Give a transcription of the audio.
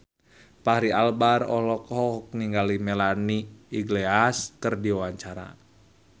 Fachri Albar olohok ningali Melanie Iglesias keur diwawancara